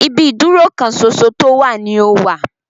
Ibi ìdúró kan ṣoṣo tó wà ní o wà.